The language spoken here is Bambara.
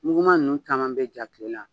Muguma ninnu caman bɛ ja tile la.